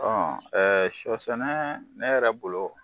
Ɔ shɔ sɛnɛ ne yɛrɛ bolo.